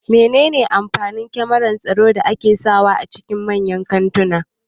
Mene ne amfanin kyamarar tsaro da ake sa wa a cikin manyan kantuna